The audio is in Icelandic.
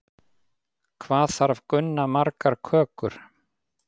Hvað þarf Gunna margar kökur?